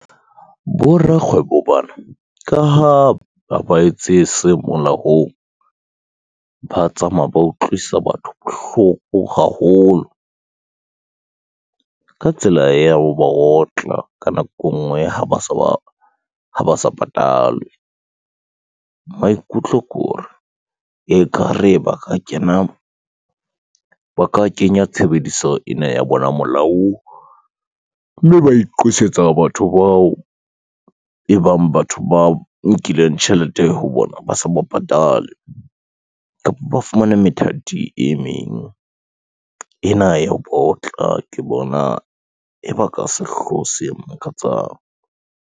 Borakgwebo bana ka ha, ha ba etse se molaong, ba tsamaya ba utlwisa batho bohloko haholo, ka tsela ya ho ba otla ka nako e ngwe ba ha ba sa patalwe. Maikutlo ke hore, ekare ba ka kenya tshebediso ena ya bona molaong, mme ba iqosetsa batho bao e bang batho ba nkileng tjhelete ho bona, ba sa ba patale, kapa ba fumane methati e meng ena ya baotla ke bona e ba ka sehloho se makatsang.